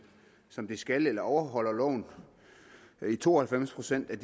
som de skal altså overholder loven i to og halvfems procent af